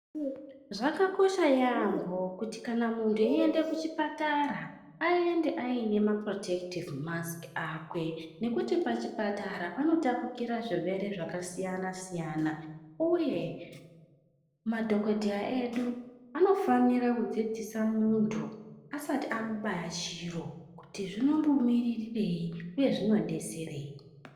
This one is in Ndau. Zvakakosha yaambo kuti kana muntu eiende kuchipatara aende aine maporotekitivhi masiki akwe. Nekuti pachipatara panotapukira zvirwere zvakasiyana-siyana, uye madhogodheya edu anofanira kudzidzisa muntu asati amuba yachiro kuti zvinombo miririrei, uye zvinombobetserei.